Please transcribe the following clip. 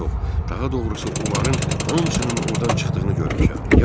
Daha doğrusu onların hamısının ordan çıxdığını görmüşəm.